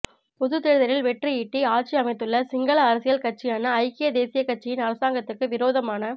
பொதுத் தேர்தலில் வெற்றியீட்டி ஆட்சி அமைத்துள்ள சிங்கள அரசியல் கட்சியான ஐக்கிய தேசிய கட்சியின் அரசாங்கத்துக்கு விரோதமான